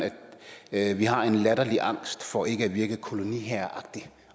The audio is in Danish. at vi har en latterlig angst for ikke at virke koloniherreragtige